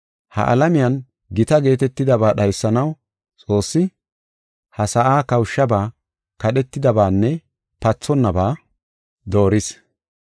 Ha alamiyan gita geetetidaba dhaysanaw, Xoossi, ha sa7aa kawushaba, kadhetidabanne pathonaba dooris.